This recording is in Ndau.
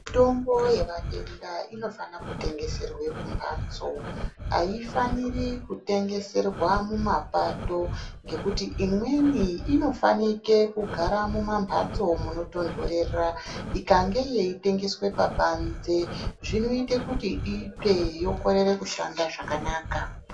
Mitombo yavatenda inofanire kutengeserwa mumhatso haifaniri kutengeserwa mumapato. Ngekuti imweni inofanike kugara mumamhatso munotonhorera ikange yeitengeswa pabanze zvinoite kuti itsve yokorere kushanda zvakanaka.